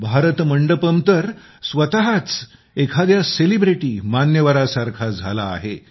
भारत मंडपम तर स्वतःच एखाद्या सेलिब्रिटीमान्यवरासारखा झाला आहे